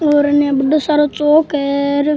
और अने बढ़ो सारो चौक है।